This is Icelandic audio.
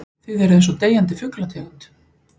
Þið eruð einsog deyjandi fuglategund.